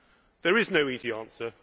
There is no easy answer.